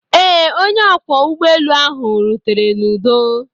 Ee, onye ọkwọ ụgbọelu ahụ rutere n'udo.